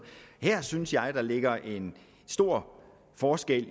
her synes jeg der ligger en stor forskel